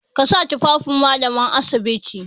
Ka sa tufafin Mallaman asibiti!